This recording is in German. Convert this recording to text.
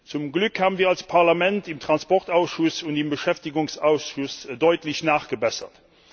Zum Glück haben wir als Parlament im Verkehrsausschuss und im Beschäftigungsausschuss deutlich nachgebessert.